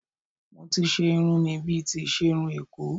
Mo ti ṣe irun mi bíi ti iṣerun Èkó